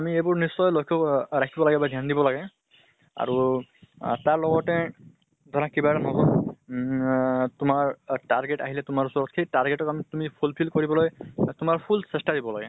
আমি এইবোৰ নিশ্চয় লক্ষ্য় কৰিব লাগে। আহ তাৰ লগতে ধৰা কিবা এটা নতুন উম না তোমাৰ target আহিলে তোমাৰ ওচৰত, সেই target ত আমি তুমি fulfill কৰিবলৈ তোমাৰ full চেষ্টা দিব লাগে।